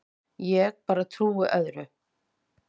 Ég bara trúi öðru.